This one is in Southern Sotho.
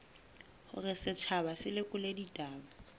hore setjhaba se lekole ditaba